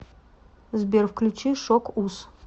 сбер включи шок уз